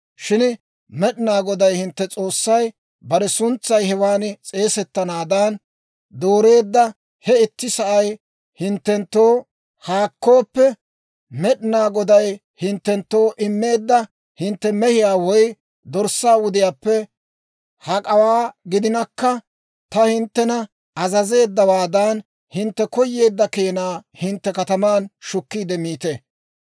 Shin Med'inaa Goday hintte S'oossay bare suntsay hewan s'eesettanaadan dooreedda he itti sa'ay hinttenttoo haakkooppe, Med'inaa Goday hinttenttoo immeedda hintte mehiyaa woy dorssaa wudiyaappe hak'awaa gidinakka, ta hinttena azazeeddawaadan, hintte koyeedda keenaa hintte kataman shukkiide miite.